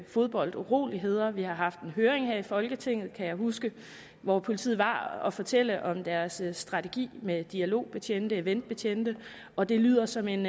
fodbolduroligheder vi har haft en høring her i folketinget kan jeg huske hvor politiet var med at fortælle om deres strategi med dialogbetjente eventbetjente og det lyder som en